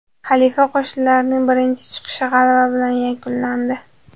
Xalifa qo‘shinlarining birinchi chiqishi g‘alaba bilan yakunlandi.